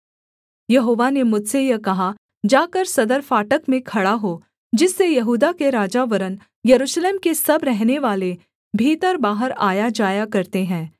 यहोवा ने मुझसे यह कहा जाकर सदर फाटक में खड़ा हो जिससे यहूदा के राजा वरन् यरूशलेम के सब रहनेवाले भीतरबाहर आयाजाया करते हैं